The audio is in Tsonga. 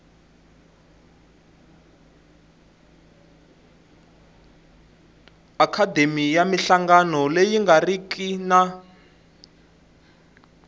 akhademiya minhlangano leyi nga riki